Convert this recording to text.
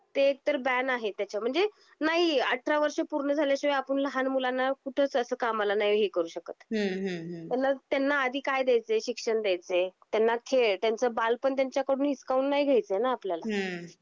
ते एक तर बॅन आहे त्याच्या म्हणजे, नाही अठरा वर्ष पूर्ण झाल्या शिवाय आपण लहान मुलांना कुठस अस कामला नाही हे करू शकत. हम्म हम्म हम्म आणि मग त्यांना आधी काय द्यायचे शिक्षण द्यायचे त्यांना खेळ त्यांच बालपण त्यांच्या कडून हिसकवून नाही घ्यायच आहेना आपल्याला हम्म